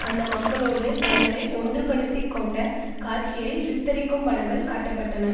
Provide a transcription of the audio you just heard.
அந்த மக்களோடு தங்களை ஒன்றுபடுத்திக்கொண்ட காட்சியை சித்தரிக்கும் படங்கள் காட்ட பட்டன